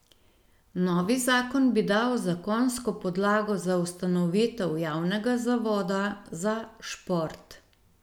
Novi zakon bi dal zakonsko podlago za ustanovitev Javnega zavoda za šport.